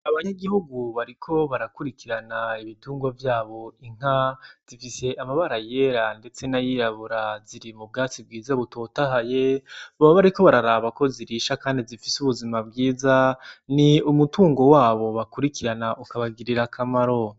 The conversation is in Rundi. Abanyagihugu bariko barakurikirana ibitungwa vyabo, inka zifise amabara yera ndetse n'ayirabura. Ziri mu bwatsi bwiza bototahaye, baba bariko bararaba ko zirisha kandi zifise ubuzima bwiza, ni umutungo wabo bakurikirana ukabagirira akamaro.